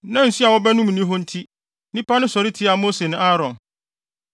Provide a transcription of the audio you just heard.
Na nsu a wɔbɛnom nni hɔ nti, nnipa no sɔre tiaa Mose ne Aaron.